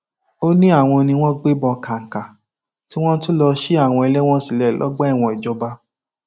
ó ní àwọn ni wọn gbébọn wọ kàǹkà tí wọn tún lọọ ṣí àwọn ẹlẹwọn sílẹ lọgbà ẹwọn ìjọba